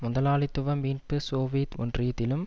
முதலாளித்துவ மீட்பு சோவியத் ஒன்றியத்திலும்